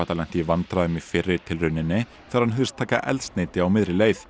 lenti í vandræðum í fyrri tilrauninni þegar hann hugðist taka eldsneyti á miðri leið